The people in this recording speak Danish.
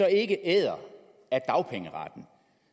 ikke æder af dagpengeretten